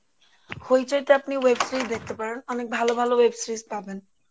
Hoichoi তে আপনি web series দেখতে পারেন অনেক ভালো ভালো web series পাবেন